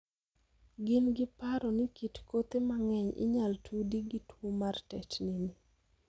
Gin gi paro ni kit kothe mang'eny inyal tudi gi tuo mar tetni ni.